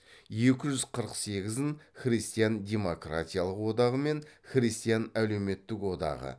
екі жүз қырық сегізін христиан демократиялық одағы мен христиан әлеуметтік одағы